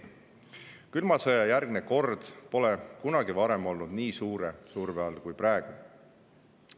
Külma sõja järgne kord pole kunagi varem olnud nii suure surve all kui praegu.